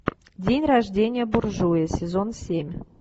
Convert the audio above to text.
день рождение буржуя сезон семь